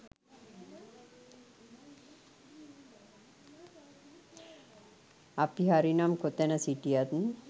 අපි හරි නම් කොතැන සිටියත්